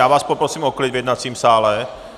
Já vás poprosím o klid v jednacím sále.